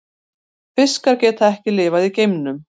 Fiskar geta ekki lifað í geimnum.